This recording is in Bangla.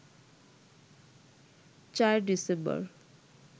৪ ডিসেম্বর